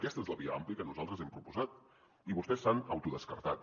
aquesta és la via àmplia que nosaltres hem proposat i vostès s’han autodescartat